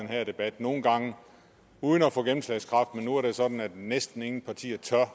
her debat nogle gange uden at få gennemslagskraft men nu er det sådan at næsten ingen partier tør